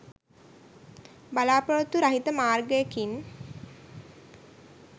බලා‍පොරොත්තු රහිත මාර්ගයකින්